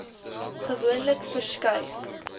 gewoonlik woon verskuif